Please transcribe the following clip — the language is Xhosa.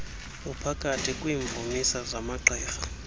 uphakathi kwiimvumisa zamagqirha